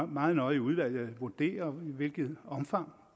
meget nøje i udvalget vurdere i hvilket omfang